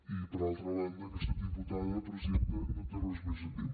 i per altra banda aquesta diputada presidenta no té res més a dir